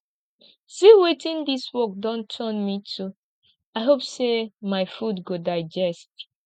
see wetin dis work don turn me to i hope say my food go digest